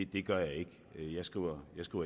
det gør jeg ikke jeg skriver